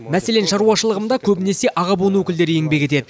мәселен шаруашылығымда көбінесе аға буын өкілдері еңбек етеді